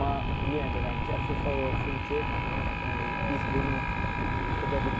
Amma yenə deyirəm ki, əfsuslar olsun ki, biz bunu edə bilmədi.